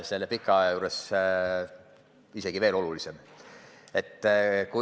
See on pika ea juures isegi veel olulisem.